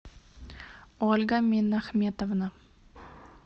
ольга минахметовна